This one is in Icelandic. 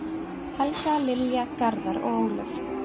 Helga, Lilja, Garðar og Ólöf.